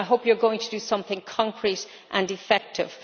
I hope it is going to do something concrete and effective.